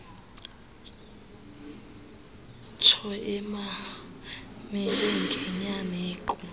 ntsho emamele ngenyameko